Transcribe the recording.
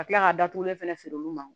Ka kila ka datugulen fɛnɛ feere olu ma